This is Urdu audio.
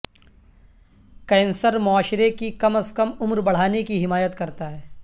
کینسر معاشرے کی کم از کم عمر بڑھانے کی حمایت کرتا ہے